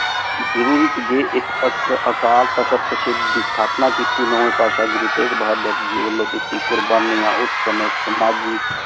ਜ਼ਰੋਰੀ ਜੀ ਇਕ ਅਕਾਲ ਤਖ਼ਤ ਤਾਸ੍ਹਿਦ ਦੀ ਅਸ੍ਥਾਪ੍ਨਾ ਕੀਤੀ ਥ ਭਾਸ਼ਾ ਗੁਰੂ ਤੇਘ ਬਹਾਦੁਰ ਵਲੋਂ ਦਿਤੀ ਕ਼ੁਰ੍ਬਾਨਿਯਾਂ ਉਸ ਸੰਯ ਸਮਾਜਿਕ